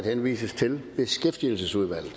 henvises til beskæftigelsesudvalget